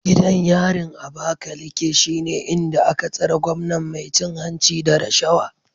Gidan yarin Abakaleke shine inda aka tsare gwamnan mai cin hanci da rashawa